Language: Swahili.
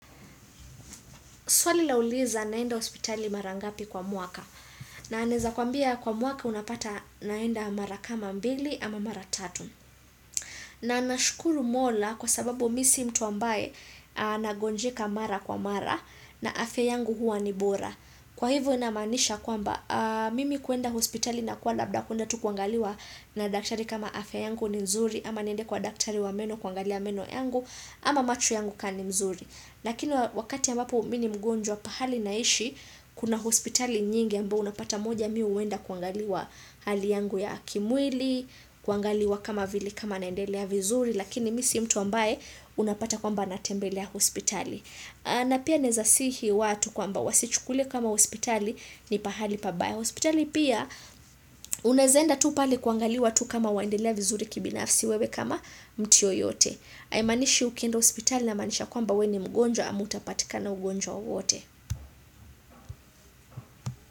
Swali lauliza naenda hospitali mara ngapi kwa mwaka. Na naeza kwambia kwa mwaka unapata naenda mara kama mbili ama mara tatu. Na nashukuru mola kwa sababu mi si mtu ambaye nagonjeka mara kwa mara na afya yangu huwa ni bora. Kwa hivyo inamaanisha kwamba mimi kuenda hospitali na kwa labda kuenda tu kuangaliwa na daktari kama afya yangu ni nzuri ama niende kwa daktari wa meno kuangali meno yangu ama macho yangu kaa ni mzuri. Lakini wakati ambapo mi ni mgonjwa pahali naishi, kuna hospitali nyingi ambao unapata moja mi huenda kuangaliwa hali yangu ya kimwili, kuangaliwa kama vile kama naendelea vizuri, lakini mi si mtu ambaye unapata kwamba natembelea hospitali. Na pia naeza sihi watu kwamba wasichukule kama hospitali ni pahali pabaya. Hospitali pia unaeza enda tu pale kuangaliwa tu kama waendelea vizuri kibinafsi wewe kama mtu yeyote. Haimanishi ukienda hospitali inamaanisha kwamba we ni mgonjwa ama utapatikana ugonjwa wowote.